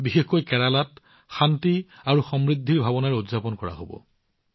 বিশেষকৈ কেৰালাত ওনাম শান্তি আৰু সমৃদ্ধিৰ ভাৱনাৰে উদযাপন কৰা হব